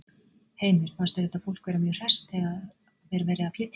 Heimir: Fannst þér þetta fólk vera mjög hresst þegar að var verið að flytja það?